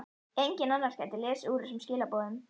Enginn annar gæti lesið úr þessum skilaboðum.